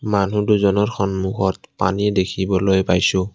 মানুহ দুজনৰ সন্মুখত পানী দেখিবলৈ পাইছোঁ।